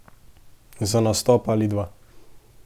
Za nastop ali dva.